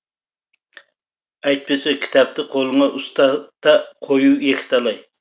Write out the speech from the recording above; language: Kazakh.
әйтпесе кітапты қолыңа ұстата қоюы екіталай